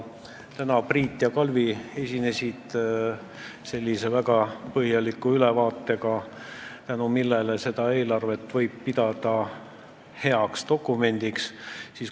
Täna Priit ja Kalvi esinesid väga põhjaliku ülevaatega, mille kohaselt võib seda eelarvet pidada heaks dokumendiks.